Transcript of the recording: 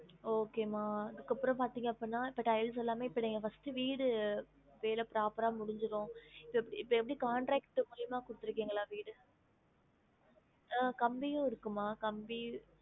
Okay மா அதுக்கு அப்ரோ பாத்திங்க அப்பிடினா இப்ப tiles எல்லாமே இப்ப நீங்க first வீடு வேலை proper ஆ முடிஞ்சிரும் இப்ப இப்ப எப்டி contract மூலியமா குடுத்திருக்கிங்களா வீடு அஹ் கம்பியும் இருக்கு மா கம்பி